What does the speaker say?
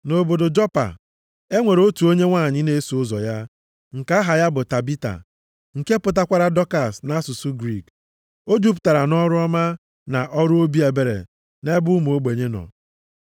Nʼobodo Jopa, e nwere otu onye nwanyị na-eso ụzọ ya, nke aha ya bụ Tabita nke pụtakwara Dọkas na asụsụ Griik. O jupụtara nʼọrụ ọma, na ọrụ obi ebere nʼebe ụmụ ogbenye nọ.